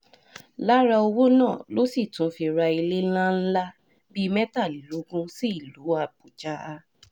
lára owó náà ló sì tún fi ra ilé ńlá ńlá bíi mẹ́tàlélógún sílùú àbújá